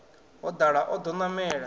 ho dala o ḓo namela